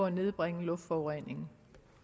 nedbringe luftforureningen